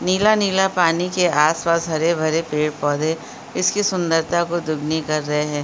नीला नीला पानी के आसपास हरे भरे पेड़-पौधे इसकी सुंदरता को दुगनी कर रहे हैं।